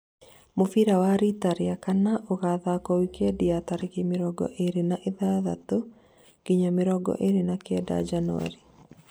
mũbira wa rĩta rĩa kana ũgathakwo, wikendi ya tarĩki mĩrongo ĩrĩ na ithathatũ nginya mĩrongo ĩrĩ na Kenda njanuari